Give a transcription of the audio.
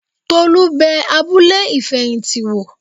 Tolú bẹ abúlé ìfẹ̀yìntì wò